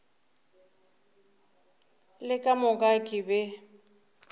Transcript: le ka moka ke be